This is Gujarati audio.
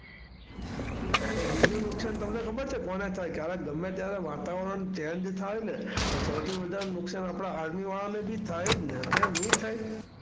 એ બીજું નુકસાન તમને ખબર છે કોને થાય? ક્યારેક ગમે ત્યારે ક્યારેય વાતાવરણ Change થાય ને તો સૌથી વધારે નુકસાન આપણાં Army વાળાને બી થાય જ ને. કેમ નહીં થાય?